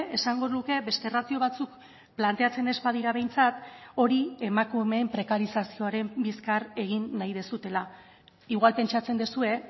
esango nuke beste ratio batzuk planteatzen ez badira behintzat hori emakumeen prekarizazioaren bizkar egin nahi duzuela igual pentsatzen duzue